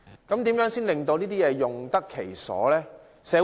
如何令這些設施用得其所？